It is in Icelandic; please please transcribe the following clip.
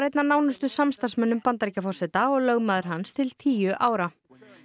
einn af nánustu samstarfsmönnum Bandaríkjaforseta og var lögmaður hans til tíu ára